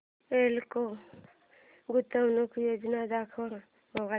एल्डेको गुंतवणूक योजना दाखव